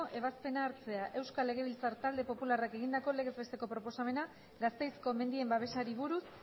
ebazpena hartzea euskal legebiltzar talde popularrak egindako legez besteko proposamena gasteizko mendien babesari buruz